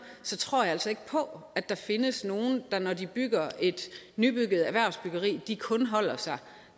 tror jeg altså ikke på at der findes nogen der når de bygger et nyt erhvervsbyggeri kun holder sig